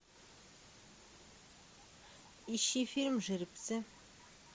ищи фильм жеребцы